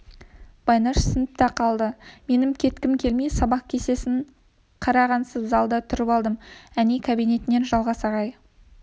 байнаш сыныпта қалды менің кеткім келмей сабақ кестесін қарағансып залда тұрып алдым әне кабинетінен жалғас ағай